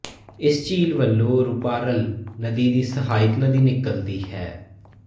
ਇਸ ਝੀਲ ਵਲੋਂ ਰੂਪਾਰਲ ਨਦੀ ਦੀ ਸਹਾਇਕ ਨਦੀ ਨਿਕਲਦੀ ਹੈ